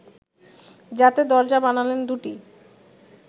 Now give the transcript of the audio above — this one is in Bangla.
যাতে দরজা বানালেন দু’টি